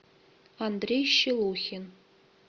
андрей щелухин